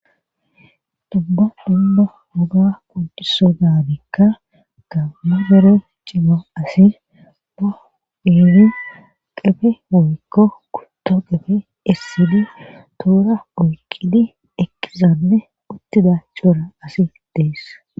Dubba dumma woga pundiso dabikka gammu bere cima asi baidi qefe woykko kutto qefe essidi tuura oyqidi ekkizanne uttida coora asi deess.